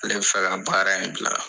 Ale bɛ fɛ ka baara in bila.